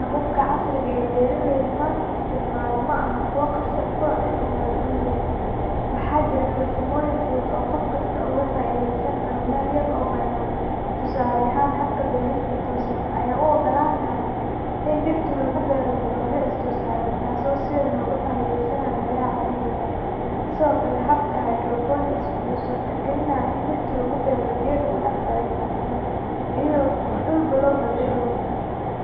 Hababka casriga ah ee beeraleydu maanta isticmaalaan ma aha kuwo qasab ku ah in la helo dhul weyn, waxaana jira farsamooyin fudud oo qof kasta uga faa’iideysan karo meel yar oo bannaan. Tusaale ahaan, habka beerista toosan (vertical farming) ayaa u oggolaanaya in dhirta lagu beero dabaqyo is dul saaran, taasoo si weyn uga faa’iideysaneysa meelaha ciriiriga ah. Sidoo kale, habka hydroponics wuxuu suurtagelinayaa in dhirta lagu beero biyo lagu dhex daray macdano, iyadoo aan dhulba loo baahnayn.